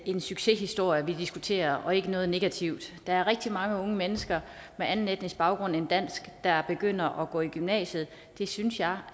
en succeshistorie vi diskuterer og ikke noget negativt der er rigtig mange unge mennesker med anden etnisk baggrund end dansk der begynder at gå i gymnasiet det synes jeg